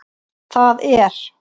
Þar er